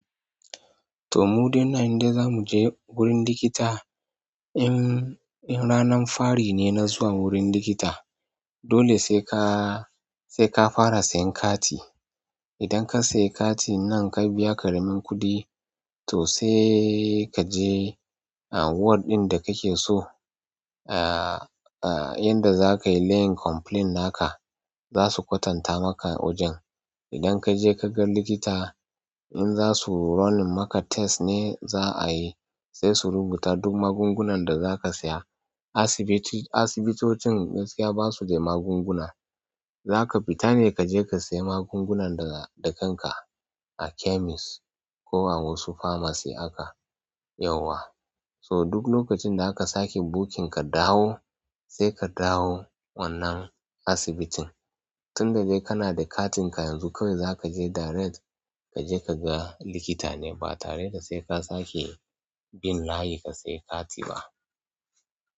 To mu dai nan in dai zamuje wurin likita in, in ranan fari ne na zuwa wurin likita. Dole sai ka, sai ka fara siyan kati. Idan ka siya katin nan ka biya ƙaramin kuɗi to sai kaje a ward ɗin da kake so. Aaa, aa yanda zakayi laying complain naka zasu kwatanta maka wajen. Idan kaje kaga likita in zasu running maka test ne za a yi sai su rubuta duk magungunan da zaka saya. Asibiti. Asibitocin gaskiya basu da magunguna. Zaka fita ne kaje ka saya magungunan da kanka a chemist ko a wasu pharmacies haka yawwa. So duk lokacin da aka sake booking ka dawo sai ka dawo wannan asibitin. Tun da dai kana da katin ka yanzu kawai zaka je direct. Kaje ka ga likita ne ba tare da se ka sake bin layi ka saya kati ba.